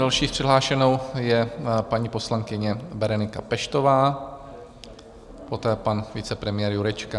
Další přihlášenou je paní poslankyně Berenika Peštová, poté pan vicepremiér Jurečka.